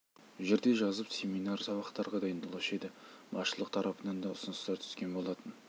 жерде жазып семинар сабақтарға дайындалушы еді басшылық тарапынан да ұсыныстар түскен болатын